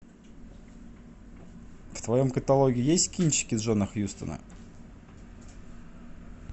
в твоем каталоге есть кинчики джона хьюстона